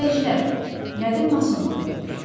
Təmizləyicilər, qədim mason ordenidir.